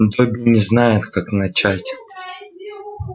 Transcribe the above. добби не знает как начать